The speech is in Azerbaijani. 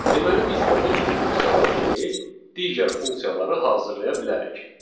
Deməli, biz də bu cür funksiyalar kimi digər funksiyaları hazırlaya bilərik.